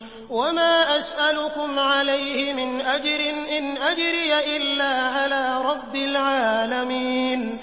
وَمَا أَسْأَلُكُمْ عَلَيْهِ مِنْ أَجْرٍ ۖ إِنْ أَجْرِيَ إِلَّا عَلَىٰ رَبِّ الْعَالَمِينَ